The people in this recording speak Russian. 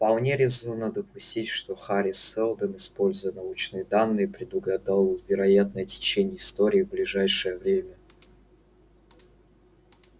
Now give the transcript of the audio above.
вполне резонно допустить что хари сэлдон используя научные данные предугадал вероятное течение истории в ближайшее время